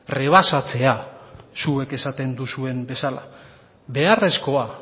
rebasatzea zuek esaten duzuen bezala beharrezkoa